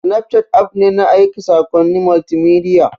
Snapchat app ne na aika saƙonnin multimedia.